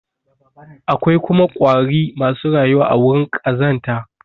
Akwai kuma ƙwari masu rayuwa a wurin ƙazanta.